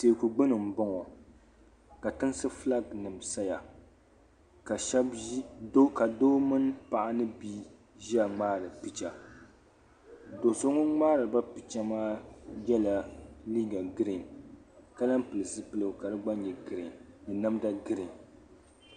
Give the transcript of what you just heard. Teeku gbini m-bɔŋɔ ka tinsi fulaakinima saya ka doo mini paɣa ni bia ʒia ŋmaari picha. Do' so ŋun ŋmaari ba picha maa yɛla liiga girin ka lahi pili zupiligu ka di gba nyɛ girin ni namda girin.